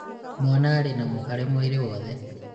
mwana arĩ na mũhare mwĩrĩ wothe